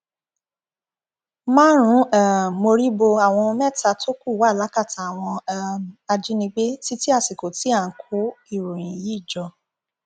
márùnún um mórí bo àwọn mẹta tó kù wá lákàtà àwọn um ajínigbé títí àsìkò tí à ń kó ìròyìn yìí jọ